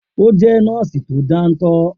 O jẹ́ nọ́ọ́sì tó dántọ́